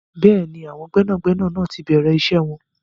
Bẹ́ẹ̀ni, àwọn gbẹ́nàgbẹnà náà ti bẹ̀rẹ̀ iṣẹ́ wọn.